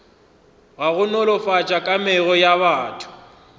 go nolofatša kamego ya batho